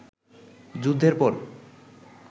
যুদ্ধের পর